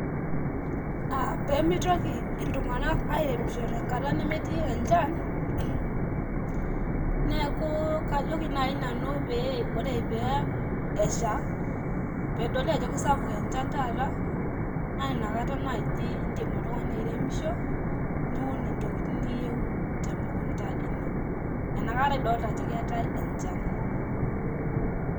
aah peemitoki iltung'anak airemishomisho tenkata nemetii enchan, neeku kajoki naai nanu pee ore pee esha peedoli ajo eisapuk encha taata, naa inakata naaji indim oltung'ani airemisho niun intokiting niyieu temukunta ino, enakata idolita ajo keetae enchan.